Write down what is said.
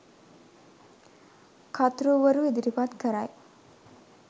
කර්තෘවරු ඉදිරිපත් කරයි